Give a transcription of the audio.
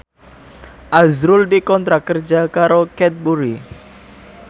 azrul dikontrak kerja karo Cadbury